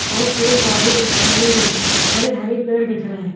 और पेड़-पौधे दिख रहे हरे-हरे पेड़ दिख रहे।